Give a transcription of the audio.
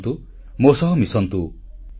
ଆସନ୍ତୁ ମୋ ସହ ମିଶନ୍ତୁ